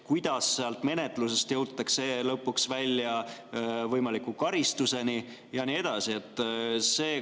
Kuidas sealt menetlusest jõutakse lõpuks välja võimaliku karistuseni ja nii edasi?